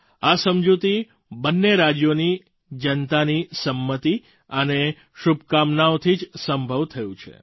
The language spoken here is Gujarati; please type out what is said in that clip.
આ સમજૂતી બંને રાજ્યોની જનતાની સંમતિ અને શુભકામનાઓથી જ સંભવ થયું છે